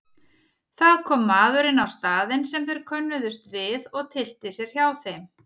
Það kom maður inn á staðinn sem þeir könnuðust við og tyllti sér hjá þeim.